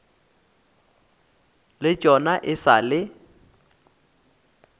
le tšona e sa le